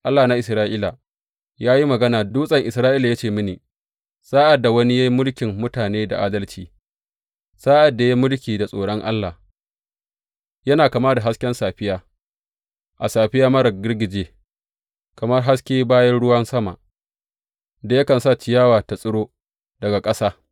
Allah na Isra’ila ya yi magana, Dutsen Isra’ila ya ce mini, Sa’ad da wani ya yi mulkin mutane da adalci, sa’ad da ya yi mulki da tsoron Allah, yana kama da hasken safiya a safiya marar girgije, kamar haske bayan ruwan sama da yakan sa ciyawa ta tsiro daga ƙasa.’